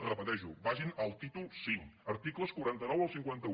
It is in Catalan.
repeteixo vagin al títol v articles quaranta nou al cinquanta un